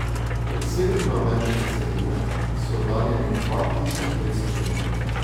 Od severnoameriške celine so oddaljeni dva tisoč petsto milj.